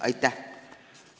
Aitäh!